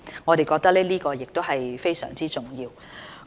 我們認為這是非常重要。